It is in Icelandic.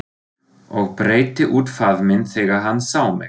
Og breiddi út faðminn þegar hann sá mig.